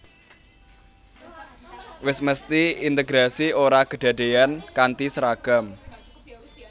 Wis mesthi integrasi ora kedadéyan kanthi seragam